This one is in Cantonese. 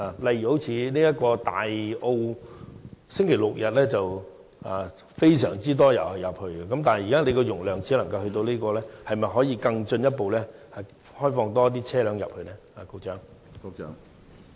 例如，不少車輛在星期六、日會前往大澳，基於現時的交通流量數字，當局可否進一步開放讓更多車輛進入大澳呢？